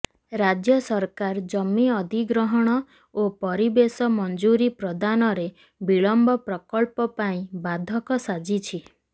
ରାଜ୍ୟ ସରକାର ଜମି ଅଧିଗ୍ରହଣ ଓ ପରିବେଶ ମଞ୍ଜୁରୀ ପ୍ରଦାନରେ ବିଳମ୍ବ ପ୍ରକଳ୍ପ ପାଇଁ ବାଧକ ସାଜିଛି